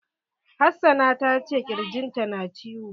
Hassana ta ce ƙirjin ta na ciwo.